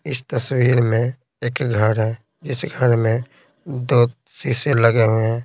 इस तस्वीर में एक घर है जिस घर में दो तीसे लगे हुए हैं।